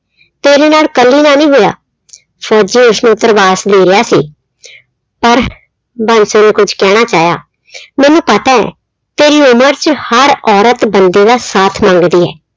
ਤੇਰੇ ਨਾਲ ਇੱਕਲੀ ਨਾਲ ਨੀ ਹੋਇਆ ਫ਼ੋਜ਼ੀ ਉਸਨੂੰ ਧਰਵਾਸ ਦੇ ਰਿਹਾ ਸੀ ਪਰ ਬਾਂਸੋ ਨੇ ਕੁਛ ਕਹਿਣਾ ਚਾਹਿਆ ਮੈਨੂੰ ਪਤਾ ਹੈ ਤੇਰੀ ਉਮਰ 'ਚ ਹਰ ਔਰਤ ਬੰਦੇ ਦਾ ਸਾਥ ਮੰਗਦੀ ਹੈ।